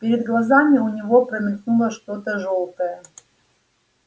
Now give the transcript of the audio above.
перед глазами у него промелькнуло что то жёлтое